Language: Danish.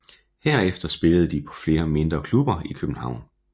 Herefter spillede de på flere mindre klubber i København